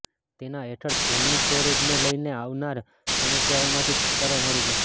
તેના હેઠળ ફોનની સ્ટોરેજને લઇને આવનાર સમસ્યાઓમાંથી છુટકારો મળી જશે